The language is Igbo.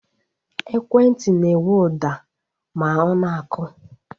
Ekwentị na-enwe ụda ma ọ na-akụ